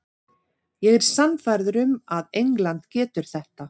Ég er sannfærður um að England getur þetta.